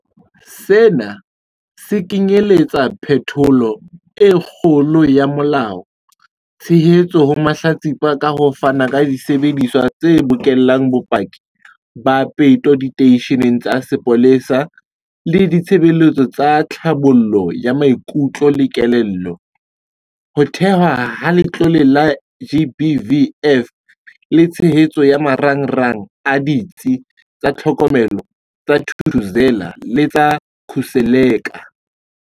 Sena se kenyeletsa phetholo e kgolo ya molao, tshehetso ho mahlatsipa ka ho fana ka disebediswa tse bokellang bopaki ba peto diteisheneng tsa sepolesa le ditshebeletso tsa tlhabollo ya maikutlo le kelello, ho thehwa ha Letlole la GBVF le tshehetso ya marangrang a Ditsi tsa Tlhokomelo tsa Thuthuzela le tsa Khuseleka.